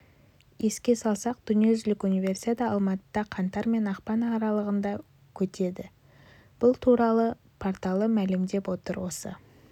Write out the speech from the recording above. еске салсақ дүниежүзілік универсиада алматыда қаңтар мен ақпан аралығында қөтеді бұл туралы порталы мәлімдеп отыр осы